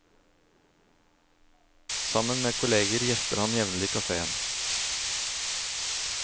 Sammen med kolleger gjester han jevnlig kaféen.